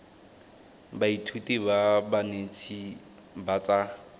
baithuti ba banetshi ba tsa